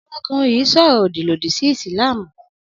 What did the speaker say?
Ọmọkùnrin yìí sọ̀rọ̀ òdì lòdì sí Ìsìlámù.